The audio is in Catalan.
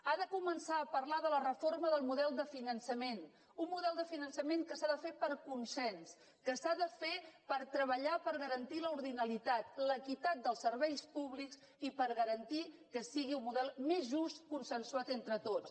ha de començar a parlar de la reforma del model de finançament un model de finançament que s’ha de fer per consens que s’ha de fer per treballar per garantir l’ordinalitat l’equitat dels serveis públics i per garantir que sigui un model més just consensuat entre tots